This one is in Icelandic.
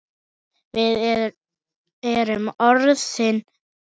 Við erum orðin gömul.